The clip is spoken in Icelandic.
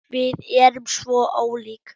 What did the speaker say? Við erum svo ólík.